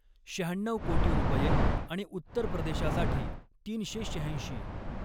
शहाण्णऊ कोटी रुपये आणि उत्तर प्रदेशासाठी तीनशे शहाऐंशी.